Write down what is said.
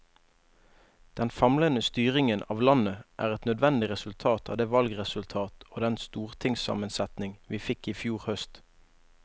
Den famlende styringen av landet er et nødvendig resultat av det valgresultat og den stortingssammensetning vi fikk i fjor høst.